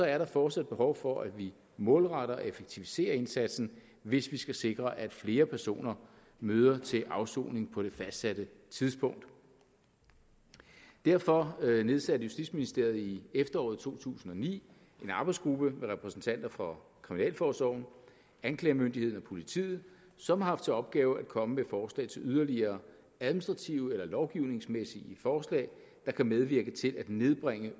er der fortsat behov for at vi målretter og effektiviserer indsatsen hvis vi skal sikre at flere personer møder til afsoning på det fastsatte tidspunkt derfor nedsatte justitsministeriet i efteråret to tusind og ni en arbejdsgruppe med repræsentanter for kriminalforsorgen anklagemyndigheden og politiet som har haft til opgave at komme med forslag til yderligere administrative eller lovgivningsmæssige forslag der kan medvirke til at nedbringe